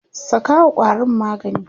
sakawa ƙwarin magani!